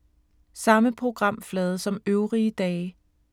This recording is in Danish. Samme programflade som øvrige dage